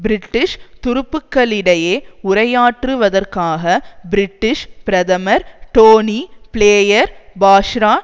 British துருப்புக்களிடையே உரையாற்றுவதற்காக British பிரதமர் டோனி பிளேயர் பாஸ்ரா